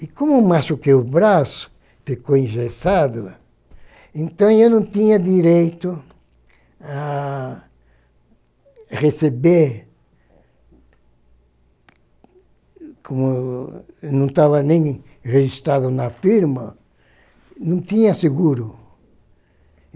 E como eu machuquei o braço, ficou engessado, então eu não tinha direito a receber, como eu não estava nem registrado na firma, não tinha seguro.